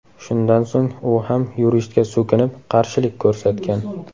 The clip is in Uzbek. Shundan so‘ng u ham yuristga so‘kinib, qarshilik ko‘rsatgan.